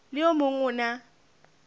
le o mong o na